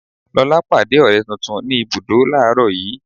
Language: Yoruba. Lóla pàdé ọ̀rẹ́ tuntun ni ibùdó làárọ̀ yii.